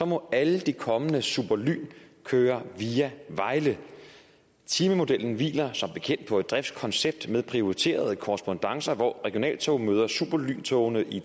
må alle de kommende superlyntog køre via vejle timemodellen hviler som bekendt på et driftskoncept med prioriterede korrespondancer hvor regionaltogene møder superlyntogene i